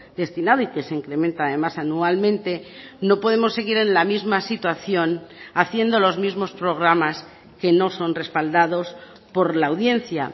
destinado y que se incrementa además anualmente no podemos seguir en la misma situación haciendo los mismos programas que no son respaldados por la audiencia